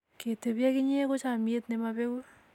ke tebi ak inye ko chamiet ne mapengu